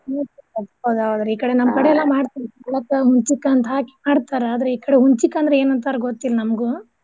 ಈ ಕಡೆ ನಮ್ ಕಡೆ ಎಲ್ಲಾ ಮಾಡ್ತಾರಿ ಪಾಲಕ್ ಹುಲ್ಚಿಕ್ಕ ಅಂತ್ ಹಾಕಿ ಮಾಡ್ತಾರ ಆದ್ರ ಈ ಕಡೆ ಹುಲ್ಚಿಕ್ಕ ಅಂದ್ರ ಏನ್ ಅಂತಾರ್ ಗೊತ್ತಿಲ್ನಮ್ಗು.